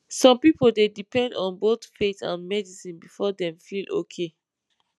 some people dey depend on both faith and medicine before dem feel okay